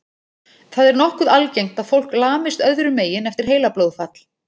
Það er nokkuð algengt að fólk lamist öðrum megin eftir heilablóðfall.